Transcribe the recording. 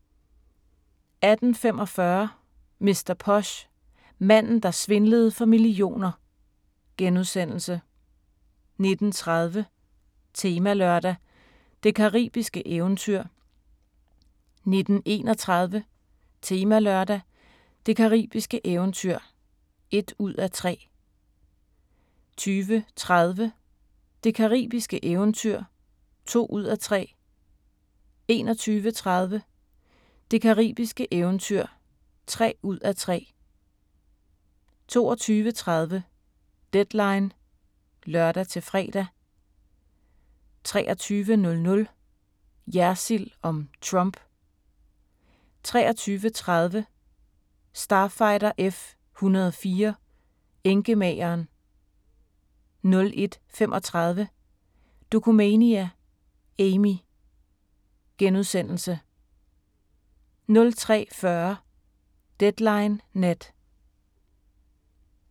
18:45: Mr. Posh: Manden der svindlede for millioner * 19:30: Temalørdag: Det caribiske eventyr 19:31: Temalørdag: Det caribiske eventyr (1:3) 20:30: Det caribiske eventyr (2:3) 21:30: Det caribiske eventyr (3:3) 22:30: Deadline (lør-fre) 23:00: Jersild om Trump 23:30: Starfighter F-104 - enkemageren 01:35: Dokumania: Amy * 03:40: Deadline Nat